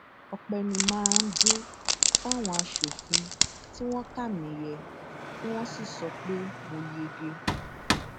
ọpẹ ni mà á dù fáwọn aṣòfin tí wọn kà mí yẹ tí wọn sì sọ pé mo yege